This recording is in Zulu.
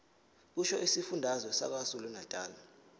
kusho isifundazwe sakwazulunatali